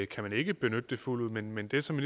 kan man ikke benytte det fuldt ud men men det som